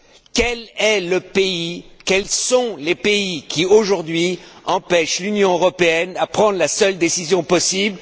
Quel est le pays, quels sont les pays qui, aujourd'hui, empêchent l'Union européenne de prendre la seule décision possible?